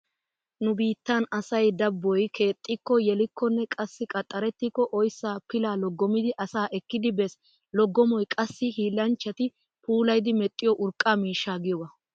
Nu biittan asay dabboy keexxikko, yelikkonne qassi qaxxarettikko oyssaa pilaa loggomidi asaa ekkidi bees. Loggomoy qassi hiillanchchati puulayidi medhdhiyo urqqa miishsha giyogaa.